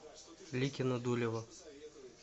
ликино дулево